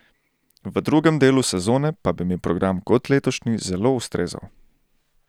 V drugem delu sezone pa bi mi program kot letošnji zelo ustrezal.